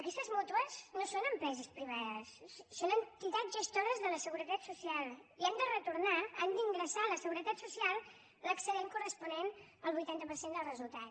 aquestes mútues no són empreses privades són entitats gestores de la seguretat social i han de retornar han d’ingressar a la seguretat social l’excedent corresponent al vuitanta per cent del resultat